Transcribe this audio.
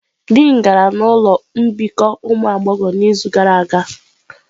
Dịin gara ụlọ mbikọ ụmụ agbọghọ n'izu gara aga.